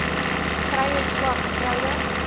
vrye swart vroue